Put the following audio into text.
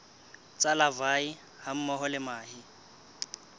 tsa larvae hammoho le mahe